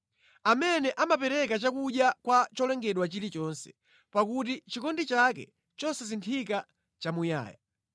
Amene amapereka chakudya kwa cholengedwa chilichonse, pakuti chikondi chake chosasinthika nʼchamuyaya.